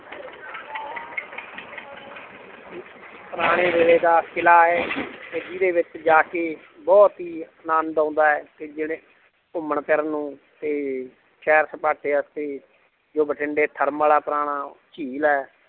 ਪੁਰਾਣੇ ਵੇਲੇ ਦਾ ਕਿਲ੍ਹਾ ਹੈ ਤੇ ਜਿਹਦੇ ਵਿੱਚ ਜਾ ਕੇ ਬਹੁਤ ਹੀ ਆਨੰਦ ਆਉਂਦਾ ਹੈ ਤੇ ਜਿਹੜੇ ਘੁੰਮਣ ਫਿਰਨ ਨੂੰ ਤੇ ਸੈਰ ਸਪਾਟੇ ਵਾਸਤੇ ਜੋ ਬਠਿੰਡੇ ਥਰਮਲ ਹੈ ਪੁਰਾਣਾ ਝੀਲ ਹੈ l